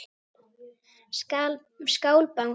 Skál Bangsi.